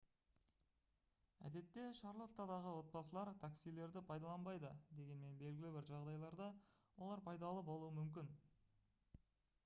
әдетте шарлоттадағы отбасылар таксилерді пайдаланбайды дегенмен белгілі бір жағдайларда олар пайдалы болуы мүмкін